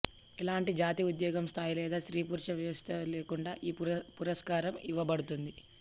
ఎలాంటి జాతి ఉద్యోగం స్థాయి లేదా స్త్రీ పురుష వ్యత్యాసం లేకుండా ఈ పురస్కారం ఇవ్వబడుతుంది